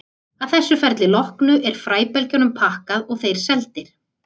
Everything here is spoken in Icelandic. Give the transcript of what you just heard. Að þessu ferli loknu er fræbelgjunum pakkað og þeir seldir.